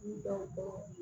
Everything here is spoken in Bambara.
Dɔn